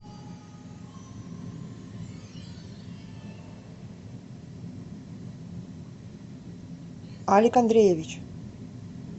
алик андреевич